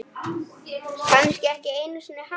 Kannski ekki einu sinni hann.